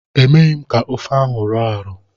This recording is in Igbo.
Emeghi m ka ofe ahụ rọọ arọọ.